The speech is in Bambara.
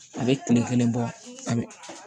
A bɛ kile kelen bɔ a bɛ